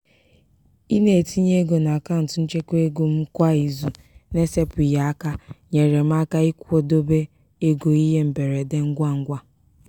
ị na-etinye ego n'akaụntụ nchekwaego m kwa izu na-esepụghị aka nyeere m aka ịkwụdobe ego ihe mberede ngwangwa.